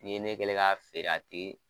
N'i ye ne kɛlen ye k'a feere a tɛ